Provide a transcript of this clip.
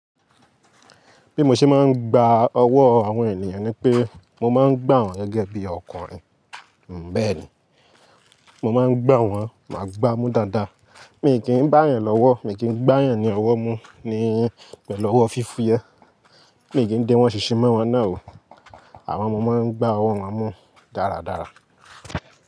Bí mo ṣe máa ń gba ọwọ́ àwọn ènìyàn ni pé mo máa ń gbà wọ́n gẹ́gẹ́ bí ọkùnrin. Bẹ́ẹ̀ ni, mo máa ń gbà wọ́n, máa gbá a mú dáadáa. Mi kì í bá à yàn lọ́wọ́, mi kì í gbà yàn ni ọwọ́ mú ni pẹ̀lú ọwọ́ fífú yẹ Mi kì í dé wọ́n ṣì ṣì má wọ́n náà o. Àwọn ọmọ máa ń gbá ọwọ́ won mú dáradára.